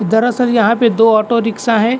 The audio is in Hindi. दरअसल यहाँ पे दो ऑटो रिक्शा है।